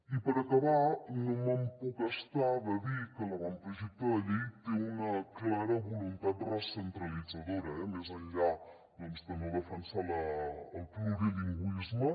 i per acabar no em puc estar de dir que l’avantprojecte de llei té una clara vo·luntat recentralitzadora eh més enllà de no defensar el plurilingüisme